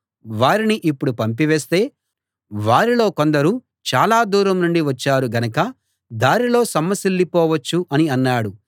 వారిని ఇప్పుడు పంపివేస్తే వారిలో కొందరు చాలా దూరం నుండి వచ్చారుగనక దారిలో సొమ్మసిల్లి పోవచ్చు అని అన్నాడు